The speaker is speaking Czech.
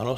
Ano.